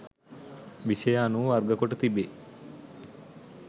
විෂය අනුව වර්ගකොට තිබේ